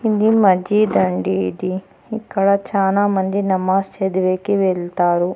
ఇది మాజీదండి ఇది ఇక్కడ చానా మంది నమాస్ చదివేకి వెళ్తారు.